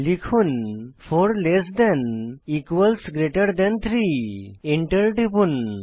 লিখুন 4 less than equals greater than 3 enter টিপুন